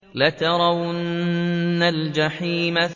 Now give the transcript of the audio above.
لَتَرَوُنَّ الْجَحِيمَ